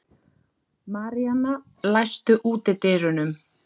Maríana, læstu útidyrunum.